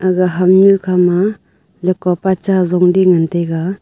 gaga hamnu khama lagka pa cha Jonley ngan taiga.